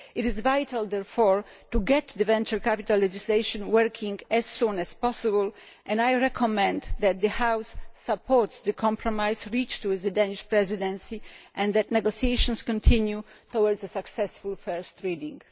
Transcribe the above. It is vital, therefore, to get the venture capital legislation working as soon as possible. I recommend that the House supports the compromise reached with the Danish Presidency and that negotiations continue towards a successful first reading.